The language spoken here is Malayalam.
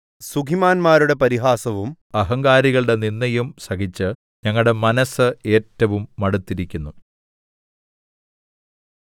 സുഖിമാൻന്മാരുടെ പരിഹാസവും അഹങ്കാരികളുടെ നിന്ദയും സഹിച്ച് ഞങ്ങളുടെ മനസ് ഏറ്റവും മടുത്തിരിക്കുന്നു